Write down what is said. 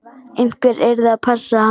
Einhver yrði að passa hann.